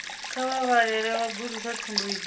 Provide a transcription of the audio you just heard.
kha vha vhalele vhagudiswa tsumbo idzi